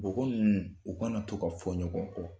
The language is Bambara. Bɔn ko ninnu u kana to ka fɔ ɲɔgɔn kɔ